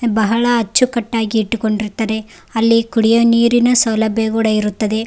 ಬಹಳ ಅಚ್ಚುಕಟ್ಟಾಗಿ ಇಟ್ಟುಕೊಂಡಿರ್ತಾರೆ ಅಲ್ಲಿ ಕುಡಿಯೊ ನೀರಿನ ಸೌಲಭ್ಯ ಕೂಡ ಇರುತ್ತದೆ.